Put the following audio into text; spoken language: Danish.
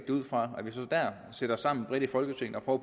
det ud fra og at vi så der sætter os sammen bredt i folketinget og